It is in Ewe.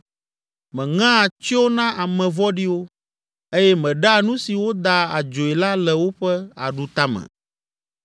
Meŋea tsyo na ame vɔ̃ɖiwo eye meɖea nu si woda adzoe la le woƒe aɖutame.